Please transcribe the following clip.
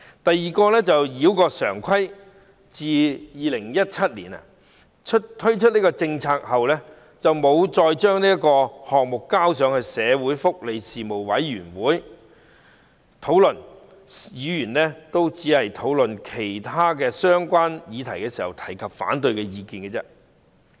第二，繞過常規：政府在2017年提出該項政策，卻一直沒有將之提交福利事務委員會加以討論，議員只能在討論其他相關議題時表達反對意見。